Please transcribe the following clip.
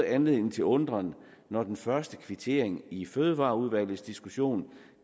anledning til undren når den første kvittering i fødevareudvalgets diskussion